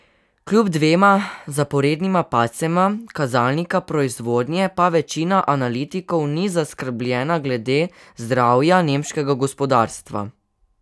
Kljub dvema zaporednima padcema kazalnika proizvodnje pa večina analitikov ni zaskrbljena glede zdravja nemškega gospodarstva.